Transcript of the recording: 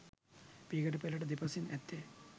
පියගැටපෙළට දෙපසින් ඇත්තේ